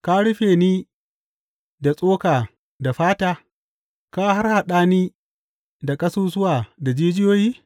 Ka rufe ni da tsoka da fata, ka harhaɗa ni da ƙasusuwa da jijiyoyi?